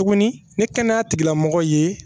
Tuguni ni kɛnɛya tigilamɔgɔ ye